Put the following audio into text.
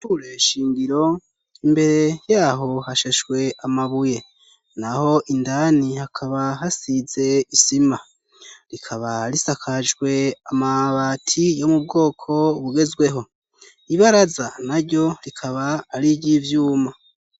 ishure nshingiro, imbere yaho hashashwe amabuye. Naho indani hakaba hasize isima rikaba risakajwe amabati yo mu bwoko bugezweho. Ibaraza na ryo rikaba ariryo ivyuma.